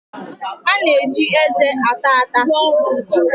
A na-eji eze ata ata.